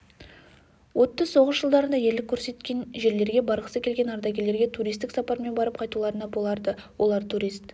отты соғыс жылдарында ерлік көрсеткен жерлерге барғысы келген ардагерлерге туристік сапармен барып қайтуларына болады олар турист